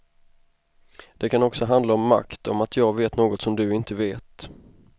Det kan också handla om makt, om att jag vet något som du inte vet.